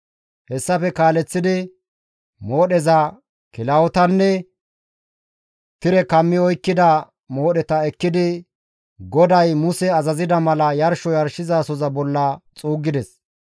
Hessafe kaaleththidi moodheza, kilahotanne tire kammi oykkida moodheta ekkidi GODAY Muse azazida mala yarsho yarshizasoza bolla xuuggides.